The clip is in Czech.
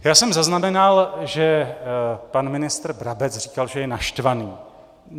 Já jsem zaznamenal, že pan ministr Brabec říkal, že je naštvaný.